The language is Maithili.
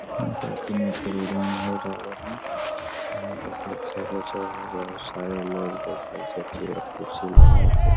यहाँ पर कुनू प्रोग्राम हो रहले हई यहां पर देख सके छो बहुत सारे लोग बइठल छै चेयर कुर्सी लगा के।